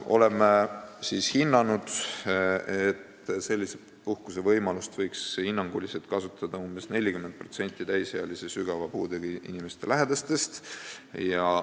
Oleme hinnanud, et sellist puhkusevõimalust võiks hinnanguliselt kasutada umbes 40% täisealiste sügava puudega inimeste lähedastest.